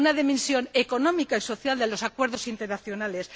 una dimensión económica y social de los acuerdos internacionales